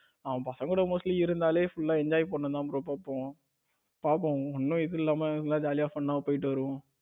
நம்ம பசங்களோட mostly இருந்தாலே full enjoy பண்ணதான தோணும் பாப்போம் ஒன்னும் இது இல்லாம நல்லா ஜாலியா fun போயிட்டு வருவோம்.